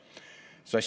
Hea Riigikogu!